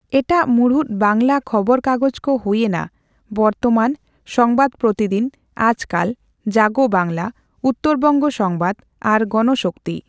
ᱮᱴᱟᱜ ᱢᱩᱬᱩᱫ ᱵᱟᱱᱜᱞᱟ ᱠᱷᱚᱵᱚᱨ ᱠᱟᱜᱚᱡᱽ ᱠᱚ ᱦᱩᱭ ᱮᱱᱟ ᱵᱚᱨᱛᱚᱢᱟᱱ, ᱥᱚᱝᱵᱟᱫ ᱯᱨᱚᱛᱤᱫᱤᱱ, ᱟᱡᱠᱟᱞ, ᱡᱟᱜᱚ ᱵᱟᱝᱜᱞᱟ, ᱩᱛᱛᱚᱨᱵᱚᱸᱜᱟ ᱥᱚᱸᱵᱟᱫ ᱟᱨ ᱜᱚᱱᱥᱚᱠᱛᱤ ᱾